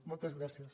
moltes gràcies